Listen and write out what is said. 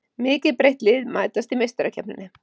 Mikið breytt lið mætast í Meistarakeppninni